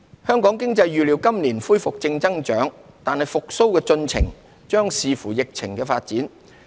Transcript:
香港經濟預料今年恢復正增長，但復蘇進程將視乎疫情發展。